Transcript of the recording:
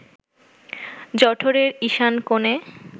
জঠরের ঈশান কোণে